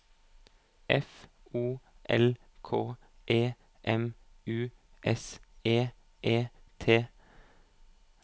F O L K E M U S E E T